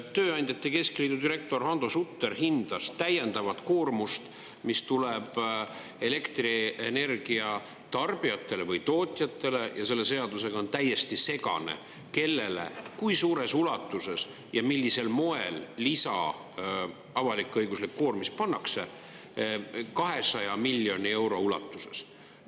Tööandjate keskliidu direktor Hando Sutter hindas täiendavat koormust, mis tuleb elektrienergia tarbijatele või tootjatele – ja selle seadusega on täiesti segane, kellele, kui suures ulatuses ja millisel moel lisa avalik-õiguslik koormis pannakse – 200 miljoni euro ulatuses.